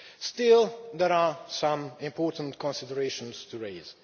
Still, there are some important considerations to raise.